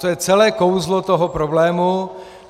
To je celé kouzlo toho problému.